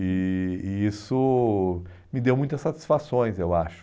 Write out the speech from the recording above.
E e isso me deu muitas satisfações, eu acho.